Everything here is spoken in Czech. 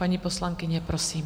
Paní poslankyně, prosím.